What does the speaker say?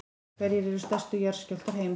hverjir eru stærstu jarðskjálftar heims